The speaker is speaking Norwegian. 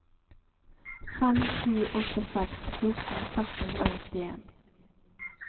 fem sju åtte seks fjorten seks hundre og nittien